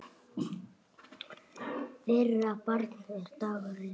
Þeirra barn er Dagur Leó.